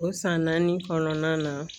O san naani kɔnɔna na